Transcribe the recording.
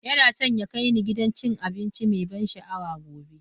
Yana so ya kai ni gidan cin abinci mai ban sha'awa gobe.